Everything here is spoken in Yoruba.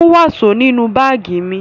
Mú wàsó nínú báágì mi!